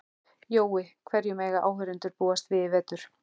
Jói, hverju mega áhorfendur búast við í vetur?